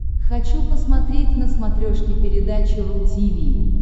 хочу посмотреть на смотрешке передачу ру ти ви